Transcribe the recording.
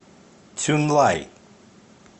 цюнлай